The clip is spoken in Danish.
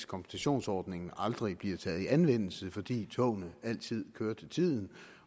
kompensationsordningen aldrig bliver taget i anvendelse fordi togene altid kører til tiden